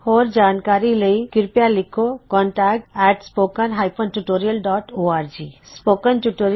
ਹੋਰ ਜਾਣਕਾਰੀ ਲਈ ਕਿਰਪਿਆ ਲਿਖੋ contactspoken tutorialorg spoken tutorial project talk to a teacher project ਦਾ ਇਕ ਹਿੱਸਾ ਹੈ